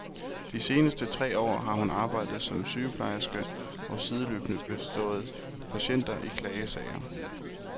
De seneste tre år har hun arbejdet som sygeplejerske og sideløbende bistået patienter i klagesager.